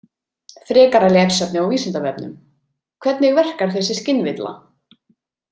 Frekara lesefni á Vísindavefnum Hvernig verkar þessi skynvilla?